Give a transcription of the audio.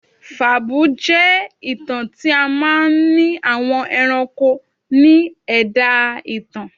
Fàbúú jẹ́ ìtàn tí a máa n ni àwọn ẹranko ni ẹ̀dá ìtàn